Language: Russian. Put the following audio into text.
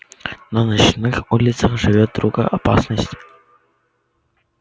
на ночных улицах живёт другая опасность